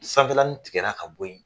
Sanfɛlani tigɛla ka bo ye